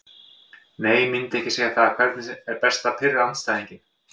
Nei myndi ekki segja það Hvernig er best að pirra andstæðinginn?